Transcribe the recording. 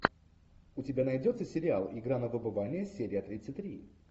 у тебя найдется сериал игра на выбывание серия тридцать три